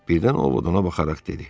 Birdən O Vot ona baxaraq dedi: